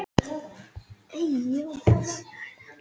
Sérðu, sagði Björn og tók í handlegg hans.